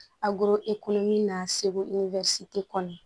A goro e kolo min n'a segu kɔnɔ